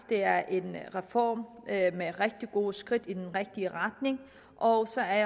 det er en reform med rigtig gode skridt i den rigtige retning og så er